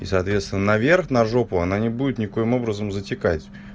и соответственно на верх на жопу она не будет ни коим образом затекать